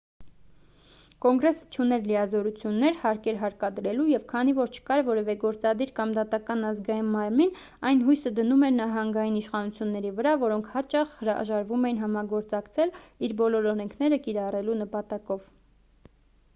կոնգրեսը չուներ լիազորություններ հարկեր հարկադրելու և քանի որ չկար որևէ գործադիր կամ դատական ազգային մարմին այն հույսը դնում էր նահանգային իշխանությունների վրա որոնք հաճախ հրաժարվում էին համագործակցել իր բոլոր օրենքները կիրառելու նպատակով